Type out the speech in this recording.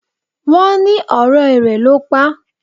Wón ní ọ̀rẹ́ rẹ ló pá.